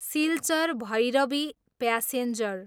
Silchar, Bhairabi passenger